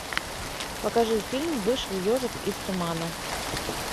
покажи фильм вышел ежик из тумана